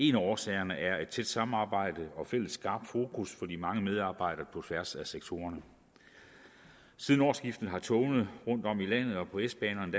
en af årsagerne er et tæt samarbejde og fælles skarpt fokus for de mange medarbejdere på tværs af sektorerne siden årsskiftet har togene rundtom i landet og på s banerne